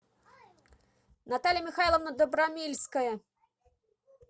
наталья михайловна добромильская